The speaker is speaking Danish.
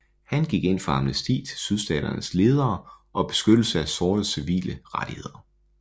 Han gik ind for amnesti til Sydstaternes ledere og beskyttelse af sortes civile rettigheder